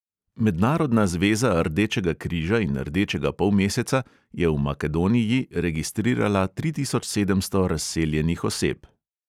Mednarodna zveza rdečega križa in rdečega polmeseca je v makedoniji registrirala tri tisoč sedemsto razseljenih oseb.